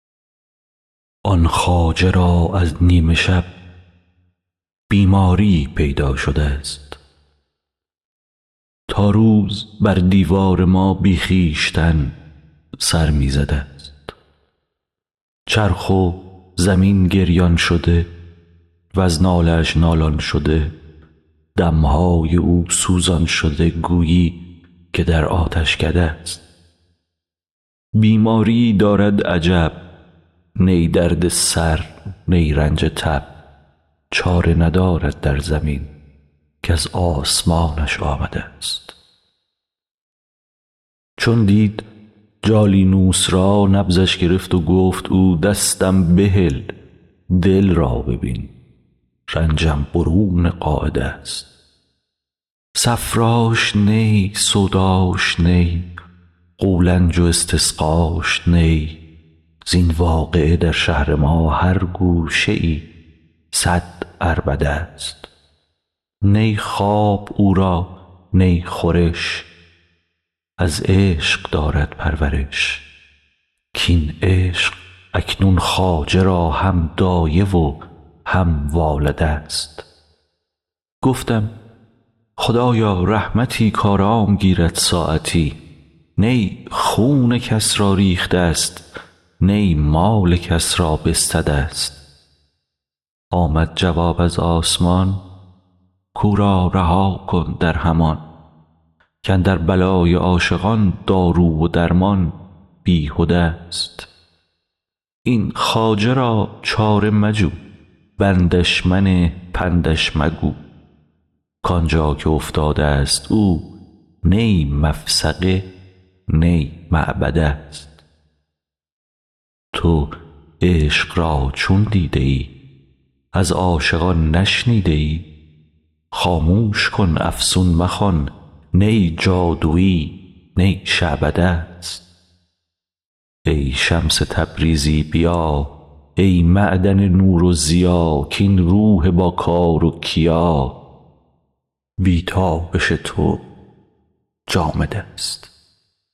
آن خواجه را از نیم شب بیماریی پیدا شده ست تا روز بر دیوار ما بی خویشتن سر می زده ست چرخ و زمین گریان شده وز ناله اش نالان شده دم های او سوزان شده گویی که در آتشکده ست بیماریی دارد عجب نی درد سر نی رنج تب چاره ندارد در زمین کز آسمانش آمده ست چون دید جالینوس را نبضش گرفت و گفت او دستم بهل دل را ببین رنجم برون قاعده ست صفراش نی سوداش نی قولنج و استسقاش نی زین واقعه در شهر ما هر گوشه ای صد عربده ست نی خواب او را نی خورش از عشق دارد پرورش کاین عشق اکنون خواجه را هم دایه و هم والده ست گفتم خدایا رحمتی کآرام گیرد ساعتی نی خون کس را ریخته ست نی مال کس را بستده ست آمد جواب از آسمان کو را رها کن در همان کاندر بلای عاشقان دارو و درمان بیهدست این خواجه را چاره مجو بندش منه پندش مگو کان جا که افتادست او نی مفسقه نی معبده ست تو عشق را چون دیده ای از عاشقان نشنیده ای خاموش کن افسون مخوان نی جادوی نی شعبده ست ای شمس تبریزی بیا ای معدن نور و ضیا کاین روح باکار و کیا بی تابش تو جامدست